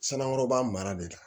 Sanaŋoba mara de